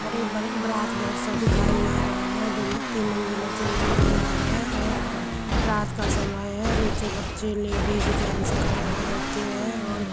बड़े ब-बारात घर सा दिखाई दे रहा है। दो तीन मंजिला चो मंजिला है और रात का समय है नीचे बच्चे लेडीज जेंट्स खड़े हो रखे है और --